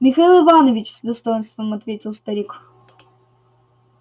михаил иванович с достоинством ответил старик